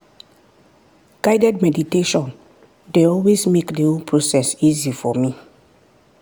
guided meditation dey always make the whole process easy for me.